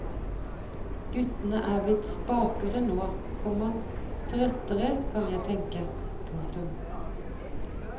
Guttene er blitt spakere nå, komma trøttere kan jeg tenke. punktum